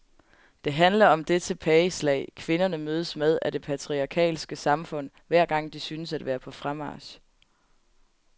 Det handler om det tilbageslag, kvinderne mødes med af det patriarkalske samfund hver gang de synes at være på fremmarch.